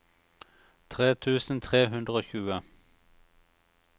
tre tusen tre hundre og tjue